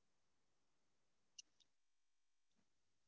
okay mam one second mam நா check பண்ணிக்கறேன்.